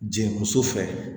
Jigin muso fɛ